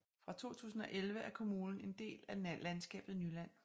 Fra 2011 er kommunen en del af landskabet Nyland